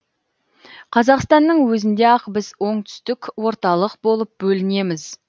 қазақстанның өзінде ақ біз оңтүстік орталық болып бөлінеміз